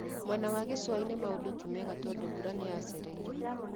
Mwena wa gĩcũa-inĩ maũndũ timega tondũ mbura nĩyacereirwo